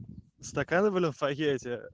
стаканы в покете